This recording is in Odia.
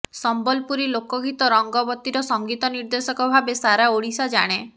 ସମ୍ବଲପୁରୀ ଲୋକଗୀତ ରଙ୍ଗବତୀର ସଙ୍ଗୀତ ନିର୍ଦ୍ଦେଶକ ଭାବେ ସାରା ଓଡିଶା ଜାଣେ